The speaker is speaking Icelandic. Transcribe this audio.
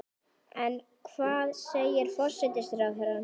En hvað segir forsætisráðherra?